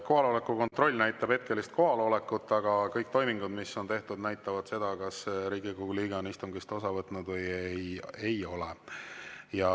Kohaloleku kontroll näitab hetkelist kohalolekut, aga kõik toimingud, mis on tehtud, näitavad seda, kas Riigikogu liige on istungist osa võtnud või ei ole.